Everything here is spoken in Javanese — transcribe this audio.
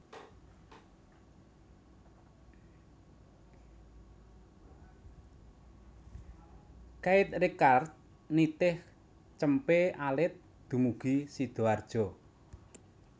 Keith Richards nitih cempe alit dumugi Sidoarjo